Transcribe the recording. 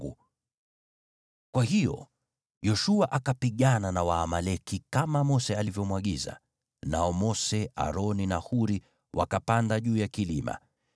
Kwa hiyo Yoshua akapigana na Waamaleki kama Mose alivyomwagiza, nao Mose, Aroni na Huri wakapanda juu ya kilima.